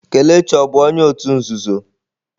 Kelechi ọ bụ onye òtù nzuzo?